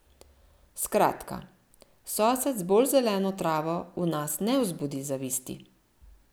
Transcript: Skratka, sosed z bolj zeleno travo v nas ne vzbudi zavisti.